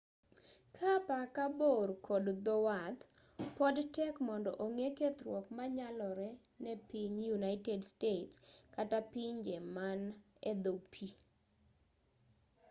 kaa apaka bor kod dhowath pod tek mondo ong'e kethruok manyalore ne piny united states kata pinje man edho pii